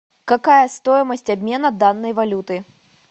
какая стоимость обмена данной валюты